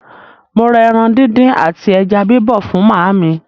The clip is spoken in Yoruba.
Mo rà ẹran díndín àti ẹja bíbọ̀ fún màámi.